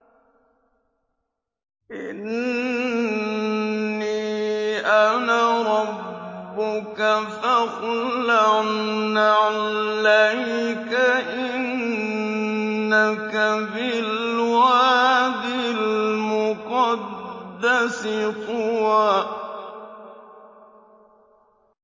إِنِّي أَنَا رَبُّكَ فَاخْلَعْ نَعْلَيْكَ ۖ إِنَّكَ بِالْوَادِ الْمُقَدَّسِ طُوًى